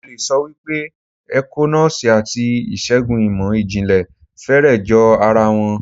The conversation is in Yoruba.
Mo le sọ wípé ẹ̀kọ́ Nọ́ọ́sì àti ìṣègùn ìmò ìjìnlẹ̀ fẹ́rẹ̀ jọ ara wọn.